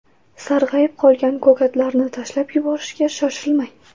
Sarg‘ayib qolgan ko‘katlarni tashlab yuborishga shoshilmang.